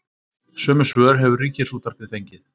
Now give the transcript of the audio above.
Sömu svör hefur Ríkisútvarpið fengið